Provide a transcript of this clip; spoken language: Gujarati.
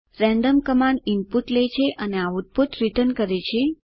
રેન્ડમ કમાન્ડ ઇનપુટ લે છે અને રીટર્ન આઉટપુટ આપે છે